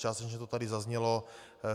Částečně to tady zaznělo.